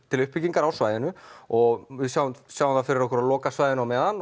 til uppbyggingar á svæðinu og við sjáum sjáum fyrir okkur að loka svæðinu á meðan